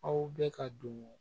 Aw bɛ ka don